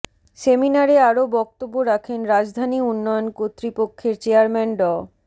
সেমিনারে আরও বক্তব্য রাখেন রাজধানী উন্নয়ন কর্তৃপক্ষের চেয়ারম্যান ড